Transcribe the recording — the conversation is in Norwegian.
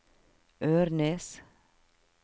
Ørnes